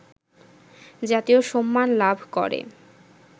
জাতীয় সম্মান লাভ করে